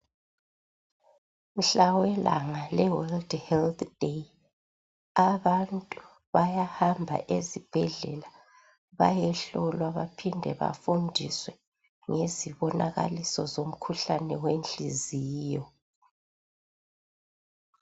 Mhla welanga le world health day, abantu bayahamba ezibhedlela bayehlolwa baphinde bafundiswe ngezibonakaliso zomkhuhlane wenhliziyo.